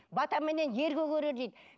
батаменен ер көгерер дейді